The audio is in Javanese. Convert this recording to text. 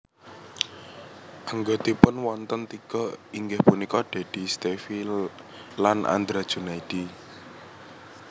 Anggotipun wonten tiga inggih punika Dedy Stevie lan Andra Junaidi